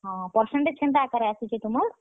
ହଁ percentage କେନ୍ତା ଆକାରେ ଆସିଛେ ତୁମର୍?